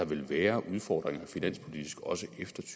vil være udfordringer også efter